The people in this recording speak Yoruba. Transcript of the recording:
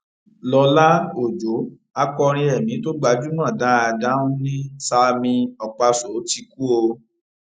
lọlá ọjọ akọrin ẹmí tó gbajúmọ dáadáa nni sammie okpaso ti kú o